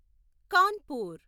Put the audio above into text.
Kanpur